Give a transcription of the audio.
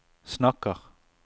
snakker